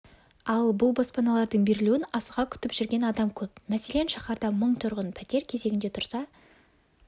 ал бұл баспаналардың берілуін асыға күтіп жүрген адам көп мәселен шаһарда мың тұрғын пәтер кезегінде тұрса